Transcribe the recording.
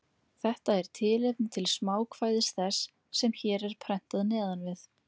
Þetta er tilefni til smákvæðis þess, sem hér er prentað neðan við.